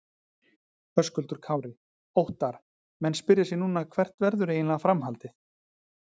Höskuldur Kári: Óttarr, menn spyrja sig núna hvert verður eiginlega framhaldið?